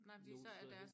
Nogen steder hen